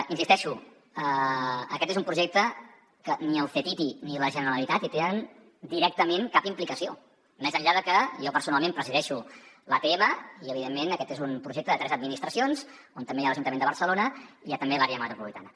hi insisteixo aquest és un projecte que ni el ctti ni la generalitat hi tenen directament cap implicació més enllà de que jo personalment presideixo l’atm i evidentment aquest és un projecte de tres administracions on també hi ha l’ajuntament de barcelona i hi ha també l’àrea metropolitana